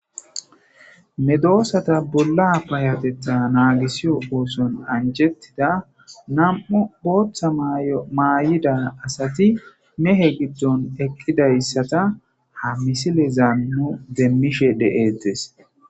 ne doossata bolla payatetha naagisiyo ooson anjettida nam7u booththa ymaayida asati mehe giddon eqqidayssata ha misile zaanno demmishe de7ettes